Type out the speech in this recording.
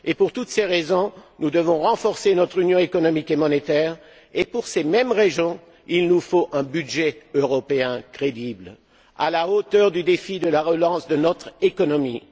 Pour toutes ces raisons, nous devons renforcer notre Union économique et monétaire et, pour ces mêmes raisons, il nous faut un budget européen crédible, à la hauteur du défi de la relance de notre économie.